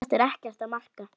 Þetta er ekkert að marka.